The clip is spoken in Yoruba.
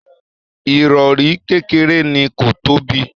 Irọri kékeré ni, ko tóbi.